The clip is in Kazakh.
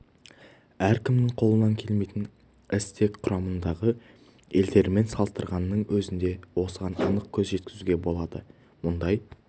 әркімнің қолынан келмейтін іс тек құрамындағы елдермен салыстырғанның өзінде осыған анық көз жеткізуге болады мұндай